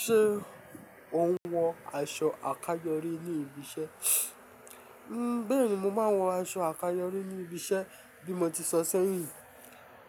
Ṣé ò ń wọ aṣọ àkáyọrí ní ibi iṣẹ́? Bẹ́ẹ̀ni, mo máa ń wọ aṣọ àkáyọrí ní ibi iṣẹ́ bí mo ti sọ sẹ́yìn.